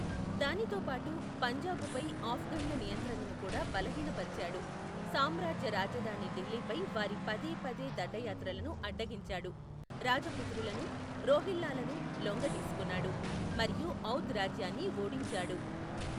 దానితో పాటు, పంజాబుపై ఆఫ్ఘన్ల నియంత్రణను కూడా బలహీనపరిచాడు, సామ్రాజ్య రాజధాని ఢిల్లీపై వారి పదేపదే దండయాత్రలను అడ్డగించాడు, రాజపుత్రులను, రోహిల్లాలను లొంగదీసుకున్నాడు మరియు ఔధ్ రాజ్యాన్ని ఓడించాడు.